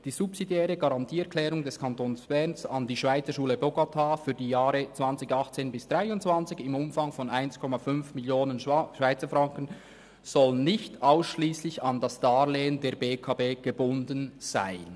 Die subsidiäre Garantieerklärung des Kantons Bern an die Schweizerschule Bogotá für die Jahre 2018–2023 im Umfang von 1,5 Mio. Schweizer Franken soll nicht ausschliesslich an das Darlehen der BEKB gebunden sein.»